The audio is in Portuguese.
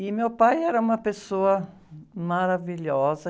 E meu pai era uma pessoa maravilhosa.